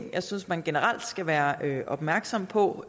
jeg synes man generelt skal være opmærksom på